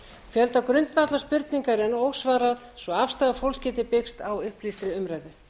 fjölda grundvallarspurninga er enn ósvarað svo afstaða fólks geti byggst á upplýstri umræðu